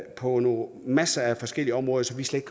på masser af forskellige områder som vi slet